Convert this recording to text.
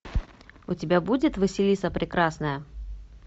у тебя будет василиса прекрасная